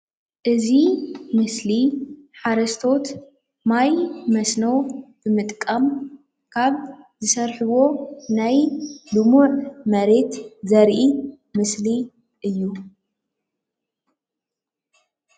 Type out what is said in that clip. እዚ ምስሊ ሓረስቶት ማይ መስኖ ንምጥቃም ካብ ዝሰርሕዎ ናይ ልሙዕ መሬት ዘርኢ ምስሊ እዩ።